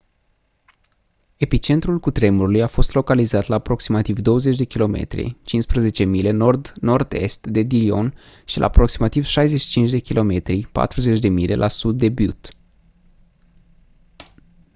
epicentrul cutremurului a fost localizat la aproximativ 20 km 15 mile nord nord-est de dillon și la aproximativ 65 km 40 mile la sud de butte